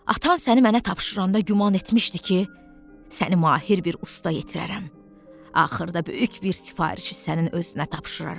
Atan səni mənə tapşıranda güman etmişdi ki, səni mahir bir usta yetirərəm, axırda böyük bir sifarişi sənin özünə tapşıraram.